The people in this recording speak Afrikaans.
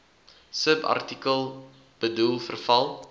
subartikel bedoel verval